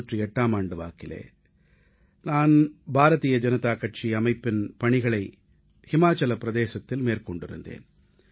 நான் இமாசலப் பிரதேசத்தில் பாரதீய ஜனதா கட்சிப் பணியாற்றிக் கொண்டிருந்தேன்